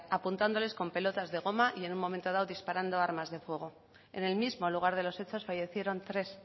apuntándoles con pelotas de goma y en un momento dado disparando armas de fuego en el mismo lugar de los hechos fallecieron tres